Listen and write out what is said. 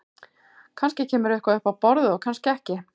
Kannski kemur eitthvað upp á borðið og kannski ekki.